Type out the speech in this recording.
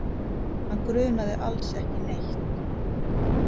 Hann grunaði alls ekki neitt.